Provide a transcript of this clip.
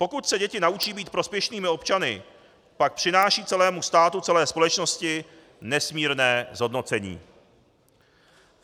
Pokud se děti naučí být prospěšnými občany, pak přinášejí celému státu, celé společnosti nesmírné zhodnocení.